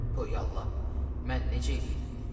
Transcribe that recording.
Töyallah, mən necə eləyim?